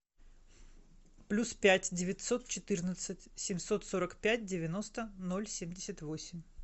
плюс пять девятьсот четырнадцать семьсот сорок пять девяносто ноль семьдесят восемь